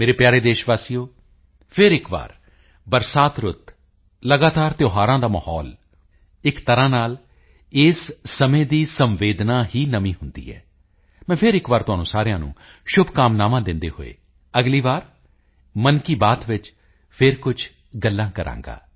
ਮੇਰੇ ਪਿਆਰੇ ਦੇਸ਼ ਵਾਸੀਓ ਫਿਰ ਇੱਕ ਵਾਰ ਬਰਸਾਤ ਰੁੱਤ ਲਗਾਤਾਰ ਤਿਓਹਾਰਾਂ ਦਾ ਮਾਹੌਲ ਇੱਕ ਤਰ੍ਹਾਂ ਨਾਲ ਇਸ ਸਮੇਂ ਦੀ ਸੰਵੇਦਨਾ ਹੀ ਨਵੀਂ ਹੁੰਦੀ ਹੈ ਮੈਂ ਫਿਰ ਇੱਕ ਵਾਰੀ ਤੁਹਾਨੂੰ ਸਾਰਿਆਂ ਨੂੰ ਸ਼ੁਭਕਾਮਨਾਵਾਂ ਦਿੰਦੇ ਹੋਏ ਅਗਲੀ ਵਾਰੀ ਮਨ ਕੀ ਬਾਤ ਵਿੱਚ ਫਿਰ ਕੁਝ ਗੱਲਾਂ ਕਰਾਂਗਾ